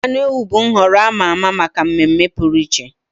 Anụ ewu bụ nhọrọ a ma ama maka mmemme pụrụ iche.